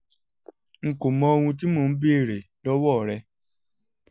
n kò mọ ohun tí mò ń béèrè lọ́wọ́ rẹ